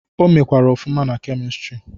O mekwara ọfụma na Kemịstrị.